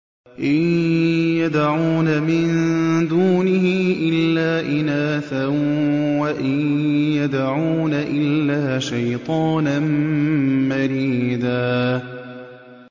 إِن يَدْعُونَ مِن دُونِهِ إِلَّا إِنَاثًا وَإِن يَدْعُونَ إِلَّا شَيْطَانًا مَّرِيدًا